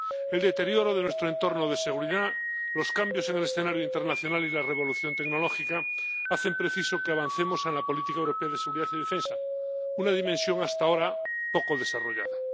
El deterioro de nuestro entorno de seguridad, los cambios en el escenario internacional y la revolución tecnológica hacen preciso que avancemos en la política europea de seguridad y defensa, una dimensión hasta ahora poco desarrollada.